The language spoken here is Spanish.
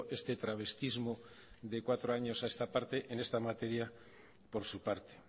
este travestismo de cuatro años en esta materia por su parte